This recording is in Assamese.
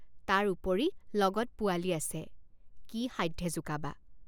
তাৰ উপৰি লগত পোৱালি আছে কি সাধ্যে জোকাবা।